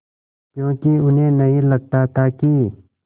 क्योंकि उन्हें नहीं लगता था कि